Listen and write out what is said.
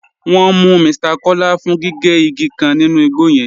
Wọn mú Mr Kọla fún gígé igi kan nínú igbo yẹn.